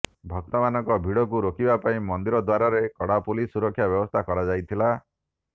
ଭକ୍ତମାନଙ୍କ ଭିଡକୁ ରୋକିବାପାଇଁ ମନ୍ଦିର ଦ୍ୱାରରେ କଡାପୁଲିସ ସୁରକ୍ଷା ବ୍ୟବସ୍ଥା କରାଯାଇଥିଲା